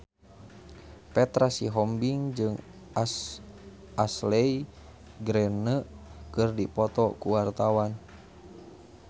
Petra Sihombing jeung Ashley Greene keur dipoto ku wartawan